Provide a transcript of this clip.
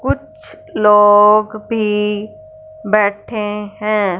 कुछ लोग भी बैठे हैं।